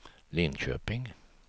Linköping